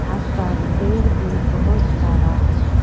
आसपास पेड़ भी बहोत सारा है।